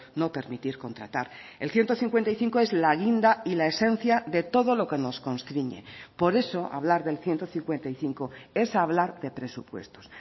no permitir contratar el ciento cincuenta y cinco es la guinda y la esencia de todo lo que nos constriñe por eso hablar del ciento cincuenta y cinco es hablar de presupuestos